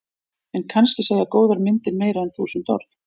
En kannski segja góðar myndir meira en þúsund orð.